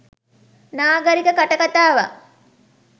නාගරික කටකතාවක්